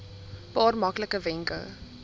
paar maklike wenke